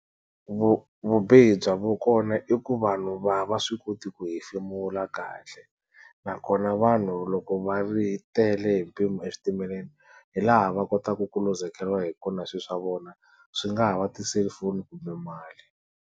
vubihi bya kona i ku vanhu a va swi koti ku hefemula kahle, nakona vanhu loko va ri tele hi mpimo eswitimeleni hi laha va kotaka ku luzekeriwa hi kona swi swa vona swi nga ha va ti-cellphone kumbe mali.